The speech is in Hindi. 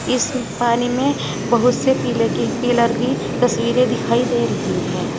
इस पानी में बहुत से पिल की पिलर की तस्वीरे दिखाई दे रही है।